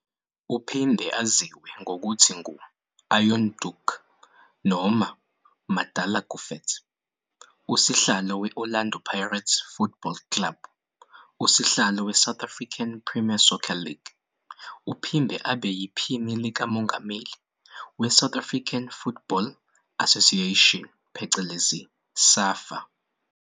Uphinde aziwe ngokuthi ngu"Iron Duke" - "MadalaGufets", unguSihlalo we-Orlando Pirates Football Club, uSihlalo weSouth African Premier Soccer League uphinde abe yiPhini likaMonganmeli we-South African Football Association, SAFA.